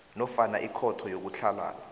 nofana ikhotho yokutlhalana